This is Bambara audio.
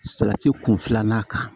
Salati kun filanan kan